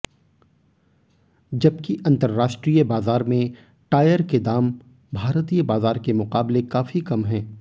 जबकि अंतरराष्ट्रीय बाजार में टायर के दाम भारतीय बाजार के मुकाबले काफी कम है